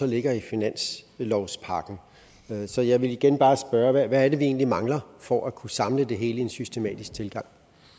ligger i finanslovspakken så jeg vil igen bare spørge hvad er det vi egentlig mangler for at kunne samle det hele i en systematisk tilgang